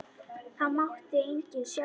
Það mátti enginn sjá það.